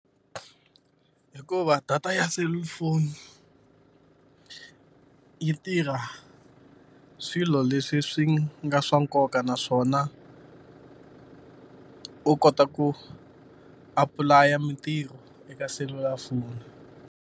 Hikuva data ya selulafoni yi tirha swilo leswi swi nga swa nkoka naswona u kota ku apply-a mintirho eka selulafoni.